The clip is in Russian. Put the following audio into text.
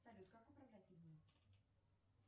салют как управлять людьми